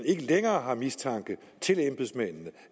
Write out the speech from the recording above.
ikke længere har mistanke til embedsmændene